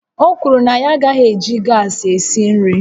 O kwuru na ya agaghị eji gas esi nri